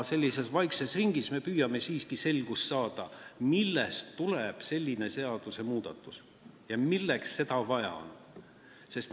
Sellises vaikses ringis me püüame siiski selgust saada, millest tuleneb selline seadusmuudatus ja milleks seda vaja on.